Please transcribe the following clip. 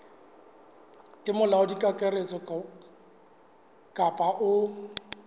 ke molaodi kakaretso kapa o